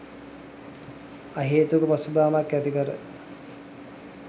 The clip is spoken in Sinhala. අහේතුක පසුබෑමක් ඇති කර